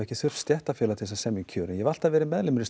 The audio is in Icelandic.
þurft stéttarfélag til að semja um kjör ég hef alltaf verið meðlimur í